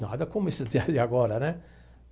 Nada como isso de agora, né?